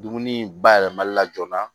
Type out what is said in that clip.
Dumuni bayɛlɛmali la joona